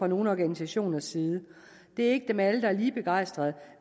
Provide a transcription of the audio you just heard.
nogle organisationers side det er ikke dem alle der er lige begejstret